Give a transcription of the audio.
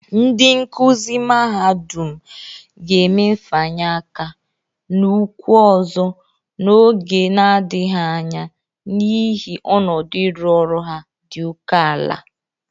Ndị nkụzị mahadụm ga-eme mfanye aka na ụkwụ ọzọ n'oge nadịghị anya n'ihi ọnụdụ ịrụ ọrụ ha dị oke ala